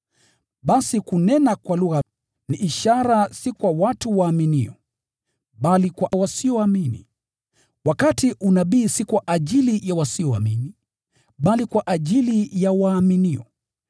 Basi kunena kwa lugha ni ishara, si kwa watu waaminio, bali kwa wasioamini, wakati unabii si kwa ajili ya wasioamini, bali kwa ajili ya waaminio.